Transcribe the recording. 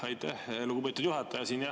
Aitäh, lugupeetud juhataja!